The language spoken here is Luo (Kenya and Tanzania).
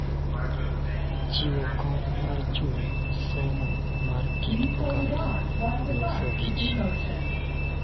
Chiwo kony mar chuny, somo mar kit oganda, loso gi ji,